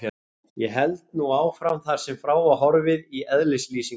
Ég held nú áfram þar sem frá var horfið í eðlislýsingu